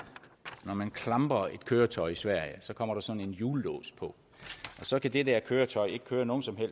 når man klamper et køretøj i sverige så kommer der sådan en hjullås på og så kan det der køretøj ikke køre nogen